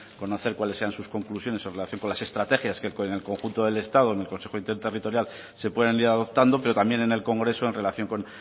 conocer cuáles sean sus conclusiones en relación con las estrategias que con el conjunto del estado en el consejo interterritorial se pueden ir adoptando pero también en el congreso en relación con